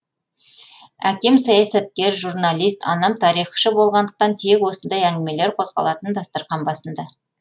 әкем саясаткер журналист анам тарихшы болғандықтан тек осындай әңгімелер қозғалатын дастархан басында